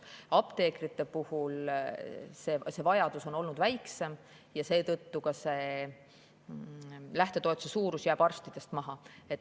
Apteekrite puhul on see vajadus olnud väiksem ja seetõttu jääb nende lähtetoetuse suurus arstide omast maha.